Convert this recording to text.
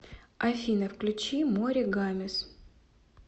афина включи море гамес